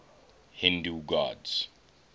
hindu gods